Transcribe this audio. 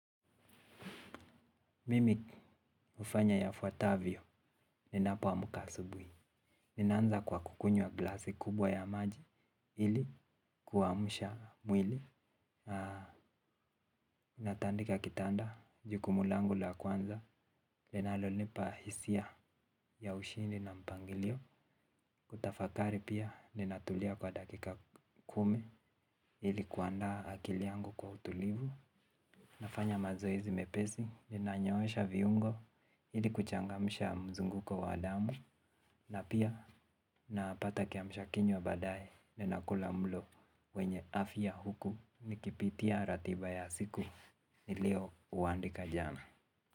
Mimi ufanya yafuatavyo, ninapoamuka asubui. Ninaanza kwa kukunywa glasi kubwa ya maji, ili kuamusha mwili. Natandika kitanda, jukumu langu la kwanza, linalonipa hisia ya ushindi na mpangilio. Kutafakari pia, ninatulia kwa dakika kumi, ili kuandaa akili yangu kwa utulivu. Nafanya mazoezi mepesi ninanyoosha viungo hili kuchangamsha mzunguko wa damu na pia napata kiamshakinywa badaye ninakula mulo wenye afia huku nikipitia ratiba ya siku nilio uandika jana.